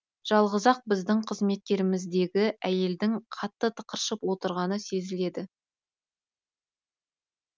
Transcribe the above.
жалғыз ақ біздің қызметкеріміздегі әйелдің қатты тықыршып отырғаны сезіледі